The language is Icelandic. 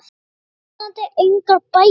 bíðandi engar bætur.